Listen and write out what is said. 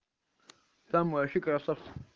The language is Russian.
там вообще красавцы